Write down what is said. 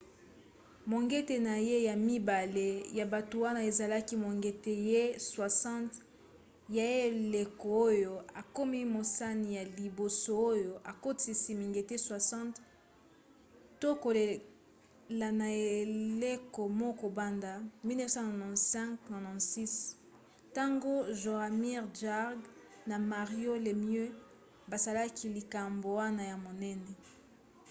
mongete na ye ya mibale ya butu wana ezalaki mongete na ye 60 ya eleko oyo akomi mosani ya liboso oyo akotisi mingete 60 to koleka na eleko moko banda 1995-96 ntango jaromir jagr na mario lemieux basalaki likambo wana ya monene